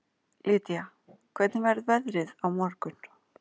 Lýdía, hvernig verður veðrið á morgun?